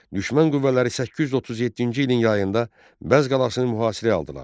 Düşmən qüvvələri 837-ci ilin yayında Bəzz qalasını mühasirəyə aldılar.